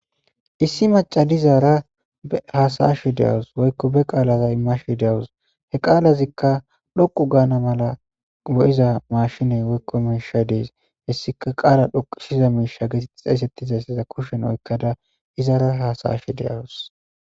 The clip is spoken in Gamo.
issi maca dizaara haasayashe de7awus woykko be qaalaza imashe deawus he qaalazikka dhoqu gaana mala bo7iza mashiney woykko miishay dees hessika qaala dhoqishiza miisha getet xeyssettizayssiza kushen oykkada izaara haasayashe de7awus